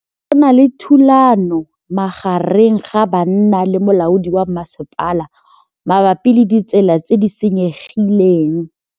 Go na le thulanô magareng ga banna le molaodi wa masepala mabapi le ditsela tse di senyegileng.